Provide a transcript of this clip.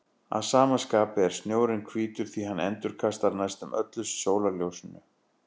Að sama skapi er snjórinn hvítur því hann endurkastar næstum öllu sólarljósinu.